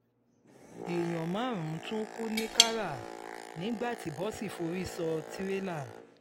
èèyàn márùn-ún tún kú ní kárà nígbà tí bọ́ọ̀sì forí sọ tirẹ́là